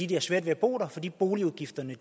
de har svært ved at bo der fordi boligudgifterne